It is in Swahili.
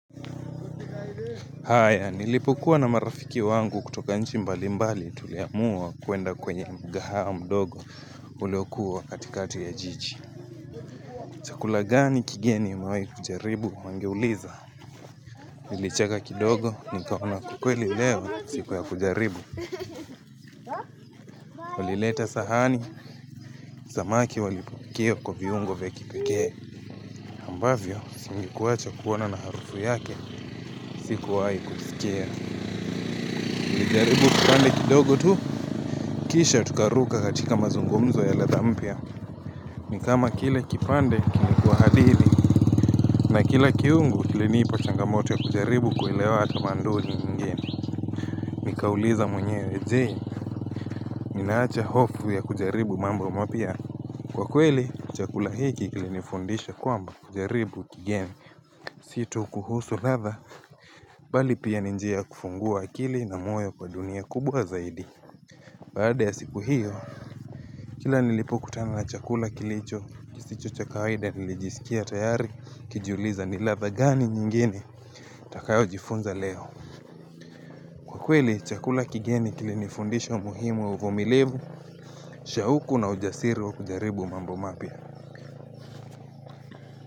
Haya nilipokuwa na marafiki wangu kutoka nchi mbalimbali tuliamua kuenda kwenye mkahawa mdogo uliokuwa katikati ya jiji Chakula gani kigeni umewahi kujaribu? Wangeuliza Nilicheka kidogo nikaona kwa kweli leo siku ya kujaribu Walileta sahani, samaki walipikia kwa viungo vya kipekee ambavyo singekuwacha kuona na harufu yake sikuwahi kuskia. Tulijaribu kipande kidogo tu, kisha tukaruka katika mazungumzo ya ladha mpya ni kama kile kipande kilikuwa hadili na kila kiungo kilinipa changamoto ya kujaribu kuelewa tamaduni ngeni Nikauliza mwenyewe je, ninaacha hofu ya kujaribu mambo mapya? Kwa kweli, chakula hiki kilinifundisha kwamba kujaribu kigeni Si tu kuhusu ladha, bali pia ni njia ya kufungua akili na moyo kwa dunia kubwa zaidi Baada ya siku hiyo, kila nilipokutana na chakula kilicho, kisicho cha kawaida nilijisikia tayari, nikijiuliza ni ladha gani nyingine, nitakayojifunza leo. Kwa kweli, chakula kigeni kilinifundisha umuhimu wa uvumilivu, shauku na ujasiri wa kujaribu mambo mapya.